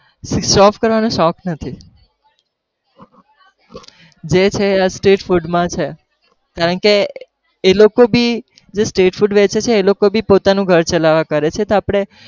show off કરાવાનો શોખ નથી, જે છે જે છે આ street food માં છે કારણ કે એ લોકો भी જે street food વેચે છે એ લોકો भी પોતાનું ઘર ચલાવવા કરે છે તો આપણે